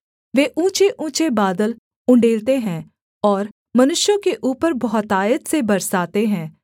वे ऊँचेऊँचे बादल उण्डेलते हैं और मनुष्यों के ऊपर बहुतायत से बरसाते हैं